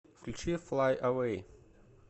включи флай эвэй